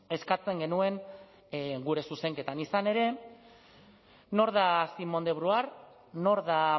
eskatzen genuen gure zuzenketan izan ere nor da simone de beauvoir nor da